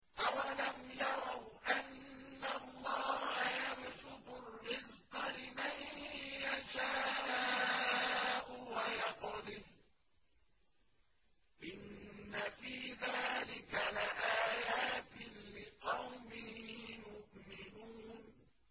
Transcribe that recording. أَوَلَمْ يَرَوْا أَنَّ اللَّهَ يَبْسُطُ الرِّزْقَ لِمَن يَشَاءُ وَيَقْدِرُ ۚ إِنَّ فِي ذَٰلِكَ لَآيَاتٍ لِّقَوْمٍ يُؤْمِنُونَ